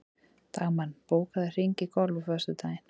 Dagmann, bókaðu hring í golf á föstudaginn.